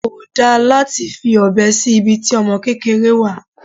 Kò dá láti fi ọbẹ sí ibi tí ọmọ kékeré wà.